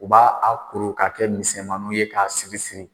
U b'a a kur k'a kɛ misɛnmaninw ye k'a siri siri